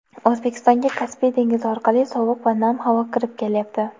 O‘zbekistonga Kaspiy dengizi orqali sovuq va nam havo kirib kelyapti.